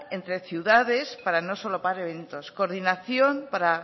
entre ciudades para no solapar eventos coordinación para